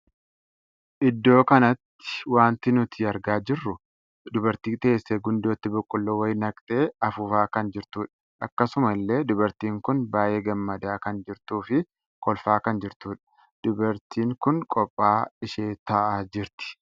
Iddoo kanatti wanti nuti argaa jirru dubartii teessee gundootti boqqolloo wayii naqxee hafuufaa kan jirtudha. akkasuma illee dubartiin kun baay'ee gamadaa kan jirtuu fi kolfaa kan jirtudha. dubartiin kun qophaa'aa ishee taa'aa jirti.